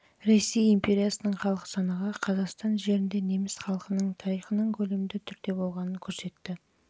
жылғы ресей империясының халық санағы қазақстан жерінде неміс халқының тарихының көлемді түрде басталғанын көрсетті